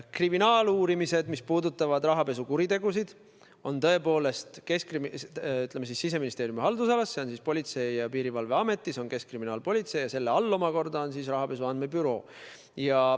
Kriminaaluurimised, mis puudutavad rahapesukuritegusid, on tõepoolest Siseministeeriumi haldusalas – see on Politsei- ja Piirivalveamet, Keskkriminaalpolitsei ning selle all omakorda rahapesu andmebüroo.